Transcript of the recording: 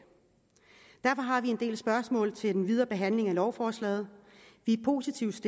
derfor har vi en del spørgsmål til den videre behandling af lovforslaget vi er positivt